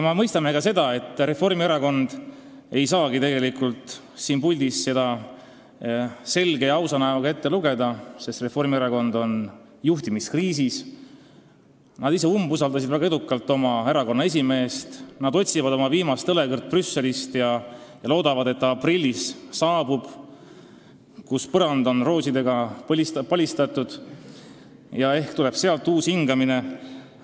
Ma mõistan ka seda, et Reformierakond ei saagi tegelikult siin puldis seda avaldust selge ja ausa näoga ette lugeda, sest Reformierakond on juhtimiskriisis, nad ise on väga edukalt oma erakonna esimeest umbusaldanud, nad otsivad oma viimast õlekõrt Brüsselist ja loodavad, et ta aprillis saabub, siis on põrand roosidega palistatud ja ehk tuleb sealt uus hingamine.